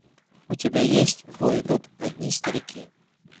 у тебя есть в бой идут одни старики